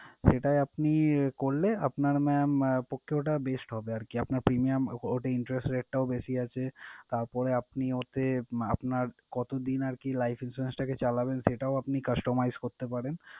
সেটায় আপনি করলে আপনার mam আহ পক্ষে ওটা best হবে আরকি। আপনার premium ওটায় interest rate টাও বেশি আছে। তারপরে আপনি ওতে আহ আপনার কতদিন আরকি life insurance টাকে চালাবেন সেটাও আপনি customize করতে পারেন।